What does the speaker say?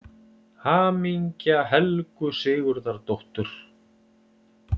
HAMINGJA HELGU SIGURÐARDÓTTUR